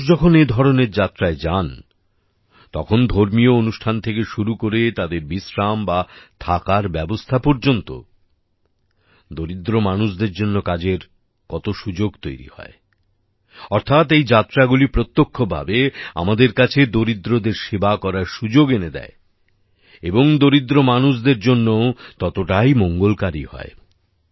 আজও মানুষ যখন এ ধরনের যাত্রায় যান তখন ধর্মীয় অনুষ্ঠান থেকে শুরু করে তাদের বিশ্রাম বা থাকার ব্যবস্থা পর্যন্ত দরিদ্র মানুষদের জন্য কাজের কত সুযোগ তৈরি হয় অর্থাৎ এই যাত্রাগুলি প্রত্যক্ষভাবে আমাদের কাছে দরিদ্রদের সেবা করার সুযোগ এনে দেয় এবং দরিদ্র মানুষদের জন্যও ততটাই মঙ্গলকারী হয়